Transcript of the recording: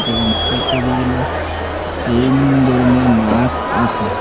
যেমন কতগুলা সেম ধরনের মাছ আছে।